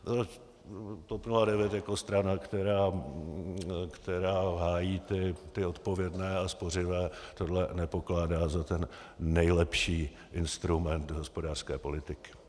TOP 09 jako strana, která hájí ty odpovědné a spořivé, tohle nepokládá za ten nejlepší instrument hospodářské politiky.